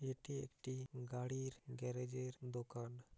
এটি একটি গাড়ির গ্যারেজ এর দোকান।